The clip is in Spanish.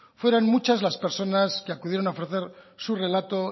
fueron muchas las personas que acudieron a ofrecer su relato